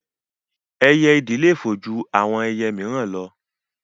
Ẹyẹ ìdì le fò ju àwọn ẹyẹ míìràn lọ